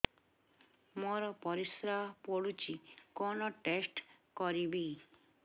ମୋର ପରିସ୍ରା ପୋଡୁଛି କଣ ଟେଷ୍ଟ କରିବି